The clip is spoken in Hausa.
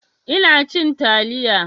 Ina cin taliya